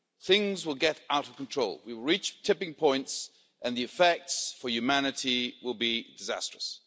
Things will get out of control, we will reach tipping points and the effects for humanity will be disastrous.